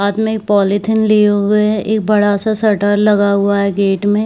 हाथ मे एक पॉलीथिन लिए हुए है एक बड़ा सा शटर लगा हुआ है गेट मे--